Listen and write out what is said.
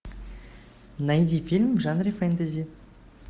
найди фильм в жанре фэнтези